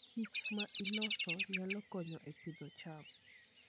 kichma iloso nyalo konyo e pidho cham.